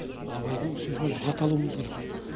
абайдың сөзінен лұғат алуымыз керек